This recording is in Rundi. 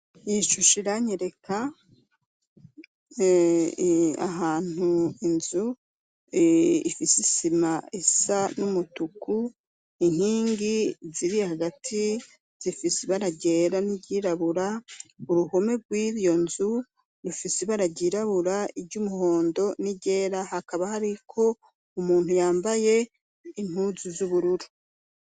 Ishusha iranyereka ahantu inzu ifise isima esa n'umutuku inkingi ziri hagati zifise ibaragera n'iryirabura uruhome rw'iyo nzu ifise ibararyirabura iryo umuhondo ni rera hakaba hari ko umuntu yambaye intuzu vy'ubururu.